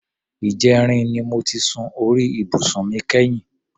Ìjẹrin ni mo ti sun orí ibùsùn mi kẹ́yìn.